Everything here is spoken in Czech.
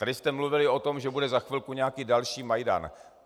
Tady jste mluvili o tom, že bude za chvilku nějaký další Majdan.